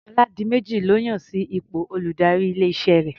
Ọládiméjì lọ́ yàn sí ipò olùdarí ilé-iṣẹ́ rẹ̀.